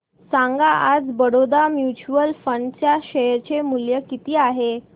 सांगा आज Baroda mutual fund च्या शेअर चे मूल्य किती आहे